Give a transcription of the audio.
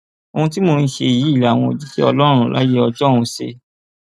ohun tí mò ń ṣe yìí làwọn òjíṣẹ ọlọrun láyé ọjọun ṣe